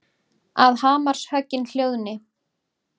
Að hamarshöggin hljóðni.